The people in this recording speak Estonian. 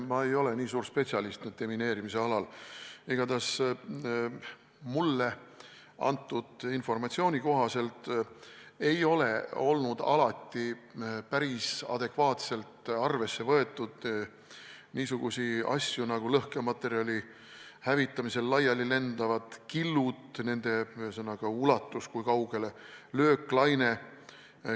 Ma ei ole deminiseerimise alal nii suur spetsialist, aga igatahes mulle antud informatsiooni kohaselt ei ole alati päris adekvaatselt arvesse võetud niisuguseid asju nagu lõhkematerjali hävitamisel laiali lendavad killud, nende ulatus, kui kaugele lööklaine läheb jne.